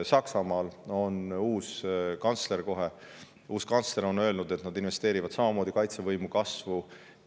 Saksamaal on kohe uus kantsler, kes on öelnud, et nad investeerivad kaitsevõime kasvu.